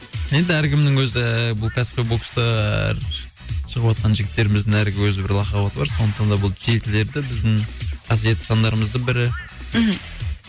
енді әркімнің өзі ііі бұл кәсіпқой бокста әр шығыватқан жігіттеріміздің әр өз бір лақап аты бар сондықтан да бұл жетілерді біздің қасиетті сандарымыздың бірі мхм